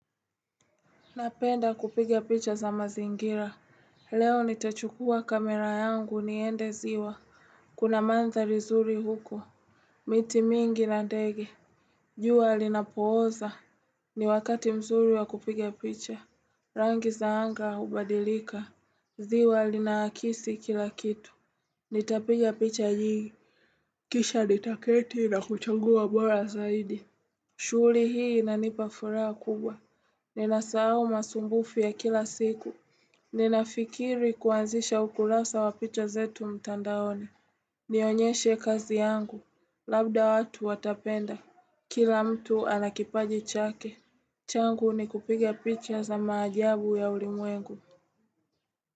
Napenda kupiga picha za mazingira. Leo nitachukuwa kamera yangu niende ziwa. Kuna manthari zuri huko. Miti mingi na ndege. Jua linapooza. Ni wakati mzuri wa kupiga picha. Rangi za anga hubadilika. Ziwa linaakisi kilakitu. Nitapigia picha nyingi. Kisha nitaketi na kuchangua bora zaidi. Shuri hii inanipa furaha kubwa. Ninasahau masumbufu ya kila siku Ninafikiri kuanzisha ukulasa wa picha zetu mtandaoni Nionyeshe kazi yangu Labda watu watapenda Kila mtu ana kipaji chake changu ni kupiga picha za maajabu ya ulimwengu.